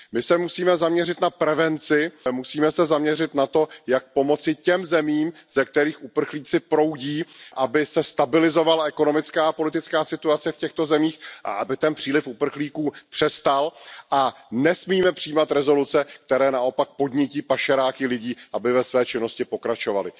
My se musíme zaměřit na prevenci, musíme se zaměřit na to, jak pomoci těm zemím, ze kterých uprchlíci proudí, aby se stabilizovala politická a ekonomická situace v těchto zemích a aby ten příliv uprchlíků přestal, a nesmíme přijímat rezoluce, které naopak podnítí pašeráky lidí, aby ve své činnosti pokračovali.